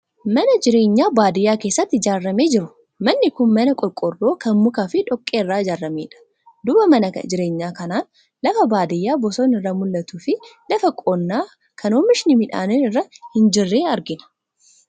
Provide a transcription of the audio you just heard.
Mana jireenyaa baadiyaa keessatti ijaaramee jiru. Manni kun mana qorqoorroo kan mukaa fi dhoqqee irraa ijaaramedha. Duuba mana jireenyaa kanaan lafa baadiyaa bosonni irraa mul'atuu fi lafa qonnaa kan oomishni midhaanii irra hin jirre argina.